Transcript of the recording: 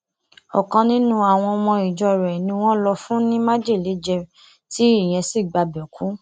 ọkan nínú àwọn ọmọ ìjọ rẹ ni wọn lò fún ní májèlé jẹ tí ìyẹn sì gbabẹ kú